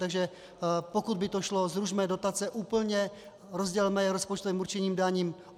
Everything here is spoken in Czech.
Takže pokud by to šlo, zrušme dotace úplně, rozdělme je rozpočtovým určením daní.